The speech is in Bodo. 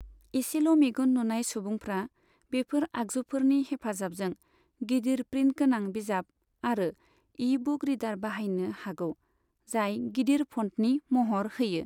एसेल' मेगन नुनाय सुबुंफ्रा बेफोर आगजुफोरनि हेफाजाबजों गिदिर प्रिन्टगोनां बिजाब आरो इ बुक रीडार बाहायनो हागौ, जाय गिदिर फ'न्टनि महर होयो।